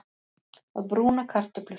Að brúna kartöflur